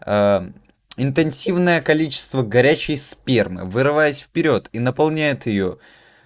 интенсивное количество горячей спермы вырываясь вперёд и наполняет её